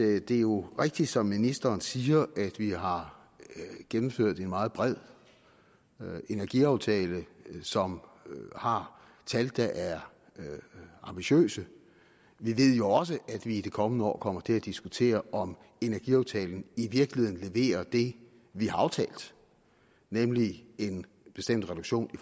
at det jo er rigtigt som ministeren siger at vi har gennemført en meget bred energiaftale som har tal der er ambitiøse vi ved jo også at vi i de kommende år kommer til at diskutere om energiaftalen i virkeligheden leverer det vi har aftalt nemlig en bestemt reduktion i